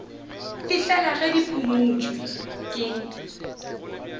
fihlela ge di phumotšwe ke